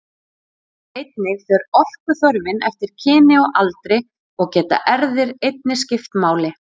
Einnig fer orkuþörfin eftir kyni og aldri og geta erfðir einnig skipt máli.